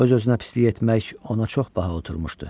Öz-özünə pislik etmək ona çox baha oturmuşdu.